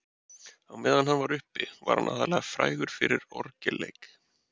Á meðan hann var uppi var hann aðallega frægur fyrir orgelleik.